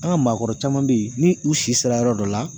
An ka maakɔrɔ caman bɛ yen ni u si sera yɔrɔ dɔ la